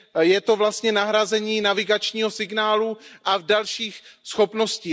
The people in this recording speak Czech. je to vlastně nahrazení navigačního signálu a dalších schopností.